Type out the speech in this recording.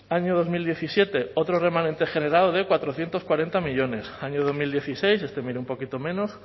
año dos mil diecisiete otros remanente generado de cuatrocientos cuarenta millónes año dos mil dieciséis este un poquito